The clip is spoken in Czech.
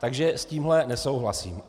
Takže s tímhle nesouhlasím.